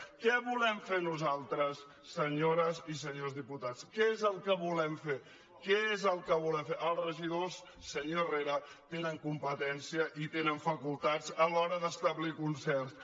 què volem fer nosaltres senyores i senyors diputats què és el que volem fer senyor herrera tenen competència i tenen facultats a l’hora d’establir concerts